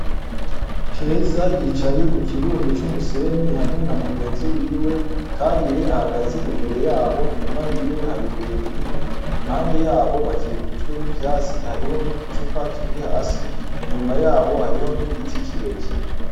Keza yicaye ku kirundo c'umusenyi hamwe na mugenzi wiwe. Karire ahagaze imbere yabo, inyuma y'iwe hari ibuye rinini. Impande yabo bakikujwe n'ivyatsi, hariho n'uducupa turi hasi. Inyuma yabo hariho n'igiti kirekire.